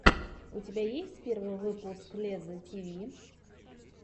у тебя есть первый выпуск лезза тиви